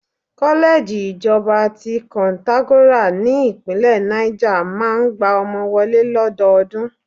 Kọ́lẹ́ẹ̀jì Ìjọba ti Koǹtàgora ní ìpínlẹ̀ Náìjà máa ń gba ọmọ wọlé lọ́dọọdún